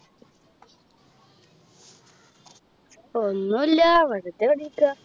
ഒന്നുല്ല വെറുതെ ഇവിടിരിക്ക